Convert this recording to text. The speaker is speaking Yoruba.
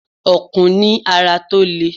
Ọ̀kùn ní ara tó lè.